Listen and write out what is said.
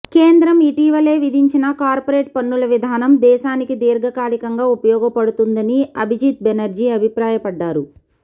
కేంద్రం ఇటీవలే విధించిన కార్పొరేట్ పన్నుల విధానం దేశానికి దీర్ఘకాలికంగా ఉపయోగపడుతుందని అభిజిత్ బెనర్జీ అభిప్రాయపడ్డారు